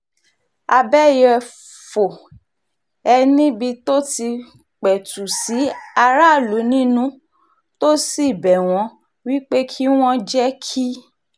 abẹ́yẹ̀fọ́ ẹ̀ níbi tó ti pẹ̀tù sí aráàlú nínú tó sì bẹ̀ wọ́n wí pé kí wọ́n jẹ́ kí